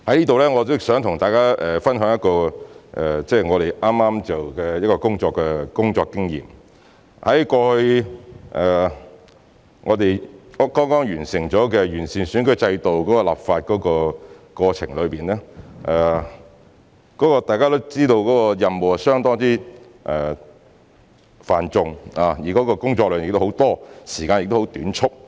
在此，我想跟大家分享一個工作經驗，最近在完善選舉制度立法的過程中，大家也知道有關任務相當繁重，工作量亦很多，時間也十分短促。